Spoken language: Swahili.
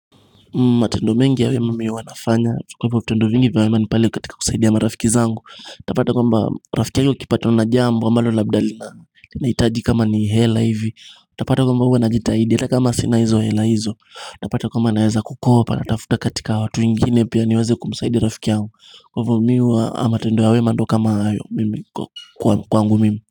Matendo mengi ya wema mimi huwanafanya Kwa hivyo vitendo vingi vya wema ni pale katika kusaidia marafiki zangu utapata kwamba rafiki yangu akipatwa na jambo ambalo labda linahitaji kama ni hela hivi utapata kwamba huwa najitahidi ata kama sina hizo hela hizo utapata kwamba naeza kukopa natafuta katika watu wengine pia niweze kumsaidia rafiki yangu Kwa hivyo mimi huwa matendo ya wema ndo kama hayo Kwangu mimi.